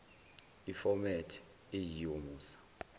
iformat eyiyo musa